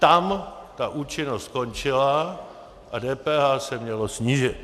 Tam ta účinnost končila a DPH se mělo snížit.